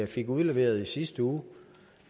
fik udleveret i sidste uge